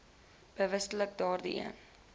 bewustelik daardie een